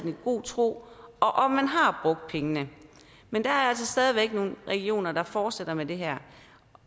i god tro og om man har pengene men der er altså stadig væk nogle regioner der fortsætter med det her